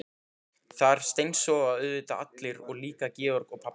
Þar steinsofa auðvitað allir og líka Georg og pabbi hans.